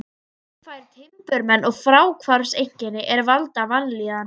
Hann fær timburmenn og fráhvarfseinkenni er valda vanlíðan.